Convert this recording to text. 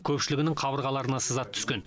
көпшілігінің қабырғаларына сызат түскен